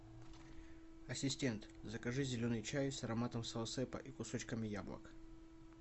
ассистент закажи зеленый чай с ароматом саусепа и кусочками яблок